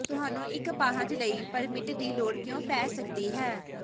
ਤੁਹਾਨੂੰ ਇਕ ਅਪਾਹਜ ਲਈ ਪਰਮਿਟ ਦੀ ਲੋੜ ਕਿਉਂ ਪੈ ਸਕਦੀ ਹੈ